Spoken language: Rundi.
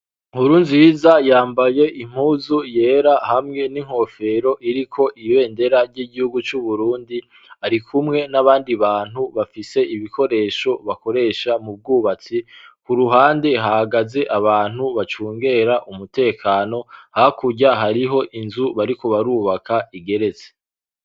Nkurunziza yambaye impuzu yera hamwe n'inkofero iriko ibendera ry'igihugu c'uburundi, ari kumwe n'abandi bantu bafise ibikoresho bakoresha mu bwubatsi, ku ruhande hagaze abantu bacungera umutekano, hakurya hariho inzu bariko barubaka igeretse.